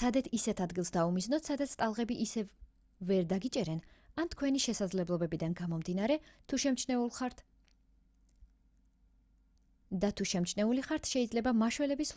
სცადეთ ისეთ ადგილს დაუმიზნოთ სადაც ტალღები ისევ ვერ დაგიჭერენ ან თქვენი შესაძლებლობებიდან გამომდინარე და თუ შემჩნეული ხართ შეიძლება მაშველების